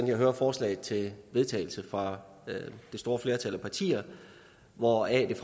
jeg hører forslaget til vedtagelse fra det store flertal af partier hvori